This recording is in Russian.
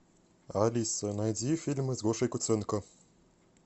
алиса найди фильмы с гошей куценко